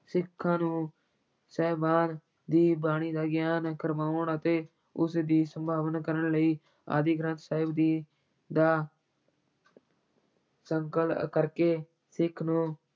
ਸਿੱਖਾਂ ਨੂੰ ਸਾਹਿਬਾਨ ਦੀ ਬਾਣੀ ਦਾ ਗਿਆਨ ਕਰਵਾਉਣ ਅਤੇ ਉਸ ਦੀ ਸੰਭਾਲ ਕਰਨ ਲਈ ਆਦਿ ਗ੍ਰੰਥ ਸਾਹਿਬ ਜੀ ਦਾ ਸੰਕਲਨ ਕਰਕੇ ਸਿੱਖ ਨੂੰ